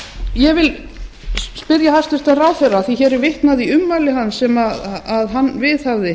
ég vil spyrja hæstvirtan heilbrigðisráðherra af því að vitnað er í ummæli sem hann viðhafði